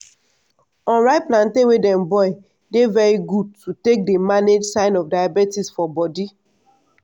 unripe plantain wey dem boil dey very good to take dey manage sign of diabetes for bodi.